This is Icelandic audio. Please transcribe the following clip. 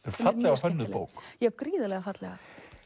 fallega hönnuð bók já gríðarlega fallega